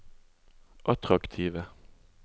attraktive